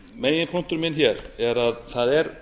meginpunktur minn hér að það er